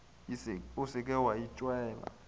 o se ke wa itšeela